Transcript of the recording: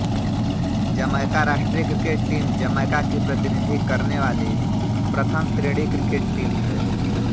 Jamaica राष्ट्रीय cricket team Jamaica की प्रतिनिधि करने वाली प्रथम श्रेणी क्रिकेट टीम है